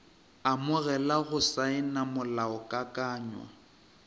amogela le go saena molaokakanywa